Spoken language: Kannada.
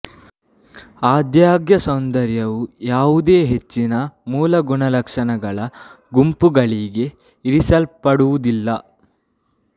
ಆದಾಗ್ಯೂ ಸೌಂದರ್ಯವು ಯಾವುದೇ ಹೆಚ್ಚಿನ ಮೂಲ ಗುಣಲಕ್ಷಣಗಳ ಗುಂಪುಗಳಿಗೆ ಇಳಿಸಲ್ಪಡುವುದಿಲ್ಲ